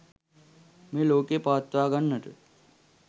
මේ ලෝකය පවත්වා ගන්නට